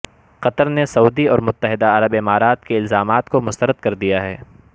قطر نے سعودی اور متحدہ عرب امارات کے الزامات کو مسترد کر دیا ہے